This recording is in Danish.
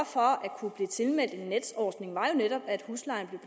for at kunne blive tilmeldt en netordning var jo netop at huslejen